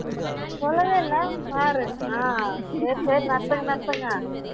சொல்லவே இல்ல பாரு ஆஹ் சரி சரி நடத்துங்க நடத்துங்க